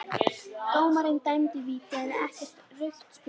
Dómarinn dæmdi víti en ekkert rautt spjald?